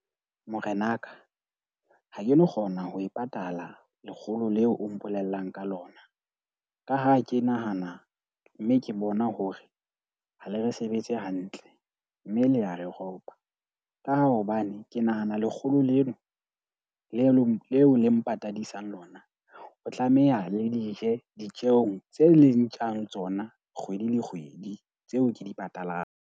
Morenaka, ha ke no kgona ho e patala lekgolo leo o mpolellang ka lona. Ka ha ke nahana mme ke bona hore ha le re sebetse hantle mme le ya re ropa. Ka ha hobane ke nahana lekgolo lena leo le mpatadisa lona, o tlameha le di je ditjeong tse leng ntjang tsona kgwedi le kgwedi. Tseo ke di patalang.